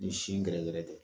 Ni sin gɛrɛ gɛrɛ tɛ